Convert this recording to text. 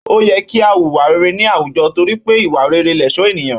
Ó yẹ kí a wùwà rere ní àwùjọ torí pé ìwà rere lẹ̀ṣọ́ ènìyàn